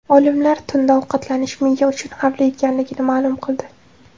Olimlar tunda ovqatlanish miya uchun xavfli ekanligini ma’lum qildi.